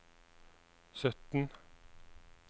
sytten